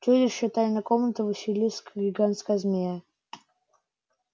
чудище тайной комнаты василиск гигантская змея